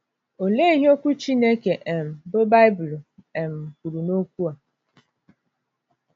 Olee ihe Okwu Chineke um, bụ́ Baịbụl, um kwuru n’okwu a?